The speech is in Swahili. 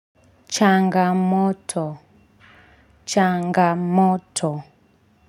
Changamoto. Changamoto.